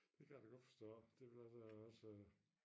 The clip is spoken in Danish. Det kan jeg da godt forstå det ville også være også